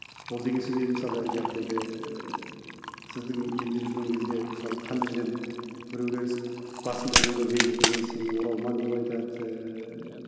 ол деген сөз енді мысалы ііі сіздің елде жүрген кезде мысалы қандай жерден біреулер басында біреулер ренжитін ой сені оралман деп айтады ыыы